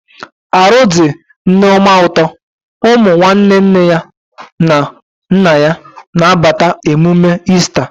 Arụ dị Nneoma ụtọ, ụmụ nwanne nne na nna ya na abata emume Easta